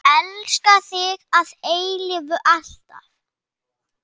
Elska þig að eilífu, alltaf.